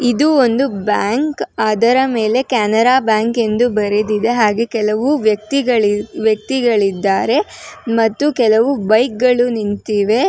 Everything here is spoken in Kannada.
ಇದು ಒಂದು ಬ್ಯಾಂಕ್ ಅದರ ಮೇಲೆ ಕೆನರಾ ಬ್ಯಾಂಕ್ ಎಂದು ಬರೆದಿದೆ ಹಾಗೆ ಕೆಲವು ವ್ಯಕ್ತಿಗಳಿ ವ್ಯಕ್ತಿಗಳಿದ್ದಾರೆ ಮತ್ತು ಕೆಲವು ಬೈಕ್ ಗಳು ನಿಂತಿವೆ.